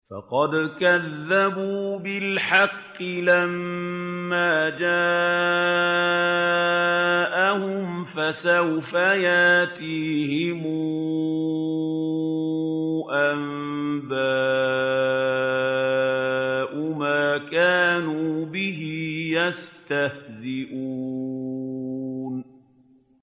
فَقَدْ كَذَّبُوا بِالْحَقِّ لَمَّا جَاءَهُمْ ۖ فَسَوْفَ يَأْتِيهِمْ أَنبَاءُ مَا كَانُوا بِهِ يَسْتَهْزِئُونَ